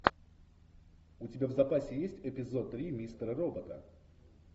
у тебя в запасе есть эпизод три мистера робота